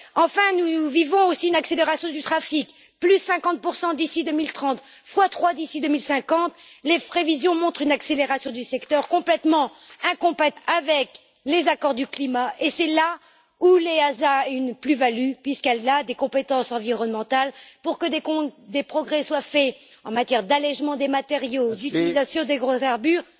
Enfin, nous vivons aussi une accélération du trafic 50 d'ici 2030, x 3 d'ici 2050, les prévisions montrent une accélération du secteur complètement incompatible avec les accords sur le climat et c'est là où l'EASA a une plus value, puisqu'elle a des compétences environnementales, pour que des progrès soient faits en matière d'allègement des matériaux, d'utilisation d'hydrocarbures